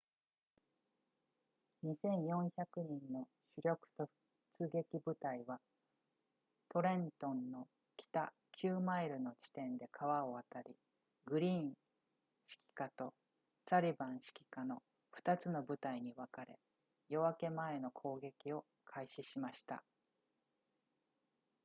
2,400 人の主力突撃部隊はトレントンの北9マイルの地点で川を渡りグリーン指揮下とサリヴァン指揮下の2つの部隊に分かれ夜明け前の攻撃を開始しました